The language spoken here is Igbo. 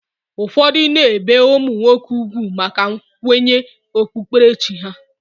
Ụfọdụ na-ebe ụmụ nwoke ugwu maka nkwenye okpukperechi ha